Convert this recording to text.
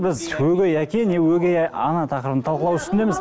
біз өгей әке не өгей ана тақырыбын талқылау үстіндеміз